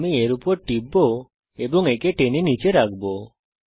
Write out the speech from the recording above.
আমি এর উপর টিপব এবং একে টেনে নীচে রাখব